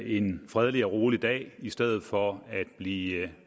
en fredelig og rolig dag i stedet for at blive